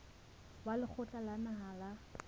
wa lekgotla la naha la